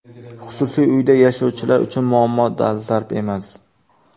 Xususiy uyda yashovchilar uchun muammo dolzarb emas.